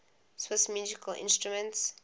swiss musical instruments